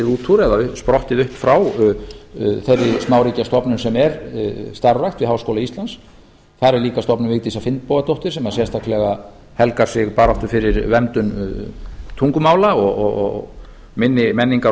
út úr eða sprottið upp frá þeirri smáríkjastofnun sem er starfrækt við háskóla íslands þar er líka stofnun vigdísar finnbogadóttur sem sérstaklega helgar sig baráttu fyrir mengun tungumála og minni menningar og